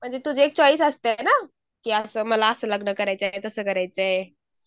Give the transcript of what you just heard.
म्हणजे तुझी एक चॉईस असतेना की असं मला असं लग्न करायचं आहे तसं करायचं आहे.